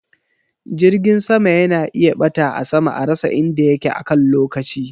Jirgin sama yana iya ɓata a sama a rasa inda yake akan lokaci